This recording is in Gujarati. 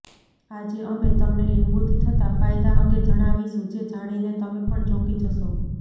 આજે અમે તમને લીંબુથી થતા ફાયદા અંગે જણાવીશું જે જાણીને તમે પણ ચોંકી જશો